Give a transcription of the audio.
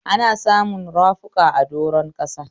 Ana samun rafuka a doron ƙasa.